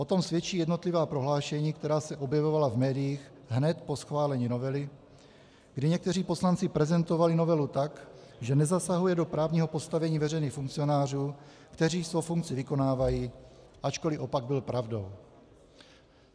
O tom svědčí jednotlivá prohlášení, která se objevovala v médiích hned po schválení novely, kdy někteří poslanci prezentovali novelu tak, že nezasahuje do právního postavení veřejných funkcionářů, kteří svou funkci vykonávají, ačkoliv opak byl pravdou.